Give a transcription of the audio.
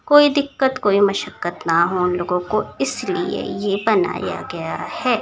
कोई दिक्कत कोई मशक न हो लोगो को इस लिए ये बनाया गया है।